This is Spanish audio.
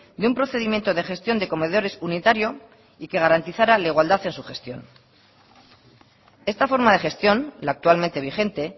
de un procedimiento de gestión de comedores unitario y que garantizara la igualdad en su gestión esta forma de gestión la actualmente vigente